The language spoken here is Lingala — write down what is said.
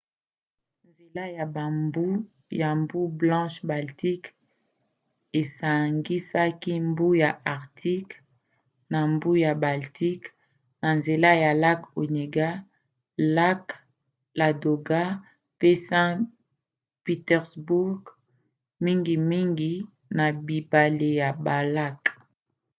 nzela ya mbu ya mbu blanche-baltique esangisaka mbu ya arctique na mbu ya baltique na nzela ya lac onega lac ladoga pe saint-pétersbourg mingimingi na bibale na balac